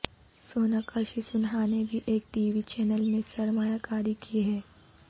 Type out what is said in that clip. سوناکشی سنہا نے بھی ایک ٹی وی چینل میں سرمایہ کاری کی ہے